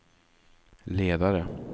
ledare